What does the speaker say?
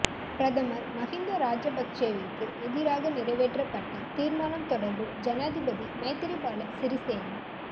பிரதமர் மஹிந்த ராஜபக்ஷவிற்கு எதிராக நிறைவேற்றப்பட்ட தீர்மானம் தொடர்பில் ஜனாதிபதி மைத்திரிபால சிறிசேன